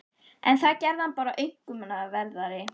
En það gerði hann bara aumkunarverðari.